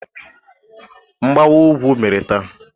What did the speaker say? Mgbawa ugwu mere taa.